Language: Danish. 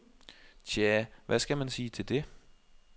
Tjah, hvad skal man sige til det?